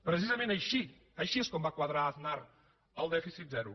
precisament així així és com va quadrar aznar el dèficit zero